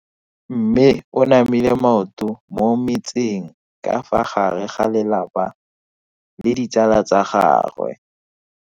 Mme o namile maoto mo mmetseng ka fa gare ga lelapa le ditsala tsa gagwe.